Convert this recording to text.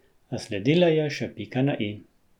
A sledila je še pika na i.